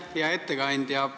Hea ettekandja!